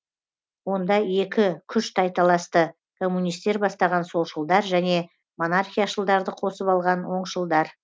онда екі күш тайталасты коммунистер бастаған солшылдар және монархияшылдарды қосып алған оңшылдар